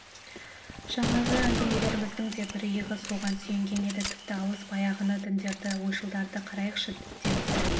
жаңағы әңгімелеріміздің де бір иығы соған сүйенген еді тіпті алыс баяғыны діндерді ойшылдарды қарайықшы деп сәл